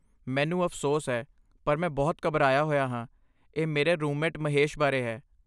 ਮੈਨੂੰ ਅਫਸੋਸ ਹੈ ਪਰ ਮੈਂ ਬਹੁਤ ਘਬਰਾਇਆ ਹੋਇਆ ਹਾਂ, ਇਹ ਮੇਰੇ ਰੂਮਮੇਟ ਮਹੇਸ਼ ਬਾਰੇ ਹੈ।